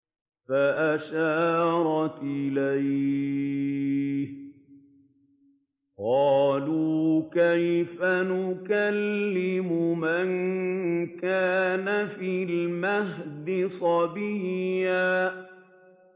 فَأَشَارَتْ إِلَيْهِ ۖ قَالُوا كَيْفَ نُكَلِّمُ مَن كَانَ فِي الْمَهْدِ صَبِيًّا